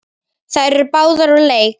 Þær eru báðar úr leik.